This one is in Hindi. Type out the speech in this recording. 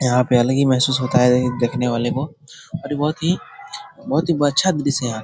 यहाँ पे अलग ही महसूस होता है देखने वाले को और ये बहुत ही बहुत ही --